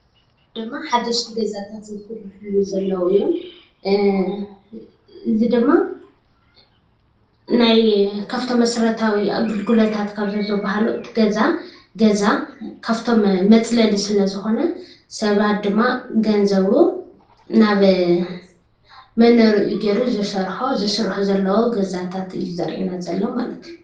ድማ ሓደሽቲ ገዛታት ዝስርሕሉ ዘለው እዮም። እዚ ድማ ናይ ካብቶም መሰረታዊ ኣገልግሎታት ካብ ዝበሃሉ እቲ ገዛ፣ ገዛ ካፍቶም መፅለሊ ስለዝኾነ ሰባት ድማ ገንዘቡ ናብ መንበሪኡ ገይሩ ዝሰርሖ፣ ዝስርሑ ዘለው ገዛታት እዩ ዘሪአና ዘሎ ማለት እዩ።